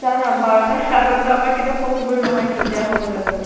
বাৰ তাৰ আগত টো আমাৰ কেতিয়াও possible নহয় তিন টা হৈ যোৱাটো।